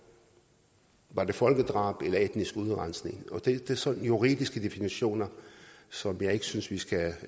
var det folkedrab eller etnisk udrensning det er sådan juridiske definitioner som jeg ikke synes vi skal